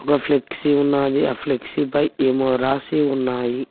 ఒక ఫ్లెక్సీ ఉన్నాది ఆ ఫ్లెక్సీ పై ఏమో రాసి ఉన్నాయి.